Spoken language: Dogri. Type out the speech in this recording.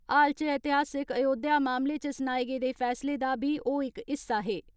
हाल इच ऐतिहासिक अयोध्या मामले इच सनाए गेदे फेसले दा बी ओ इक हिस्सा हे।